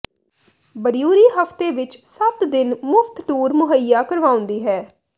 brewery ਹਫ਼ਤੇ ਵਿਚ ਸੱਤ ਦਿਨ ਮੁਫ਼ਤ ਟੂਰ ਮੁਹੱਈਆ ਕਰਵਾਉਂਦੀ ਹੈ